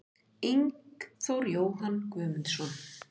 Ingþór Jóhann Guðmundsson